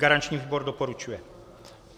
Garanční výbor doporučuje.